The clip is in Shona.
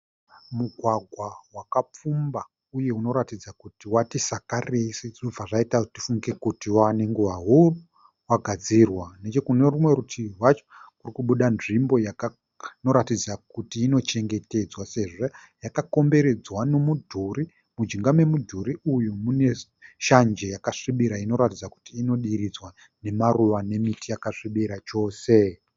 Mugwagwa wakapfumba uye unoratidza kuti wati sakarei sezvinobva zvaita kuti tifunge kuti wava nenguva huru wagadzirwa. Nechekune rumwe rutivi rwacho kuri kubuda nzvimbo inoratidza kuti inochengetedzwa sezvo yakakomberedzwa nemudhuri. Mujinga memudhuri uyu mune shanje yakasvibira inoratidza kuti inodiridzwa nemaruva nemiti yakasvibira chose.